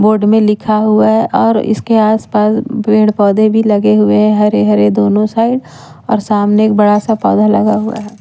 board में लिखा हुआ है और इसके आस पास पेड़ पौधे भी लगे हुए हरे हरे दोनों साइड और सामने एक बड़ा सा पौधा लगा हुआ--